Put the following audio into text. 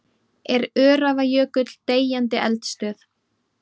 Er Öræfajökull deyjandi eldstöð?